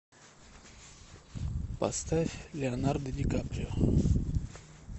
поставь леонардо ди каприо